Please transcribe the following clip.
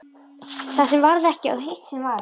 Það sem varð ekki og hitt sem varð